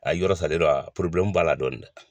A yɔrɔ salen don wa b'a la dɔɔni dɛ.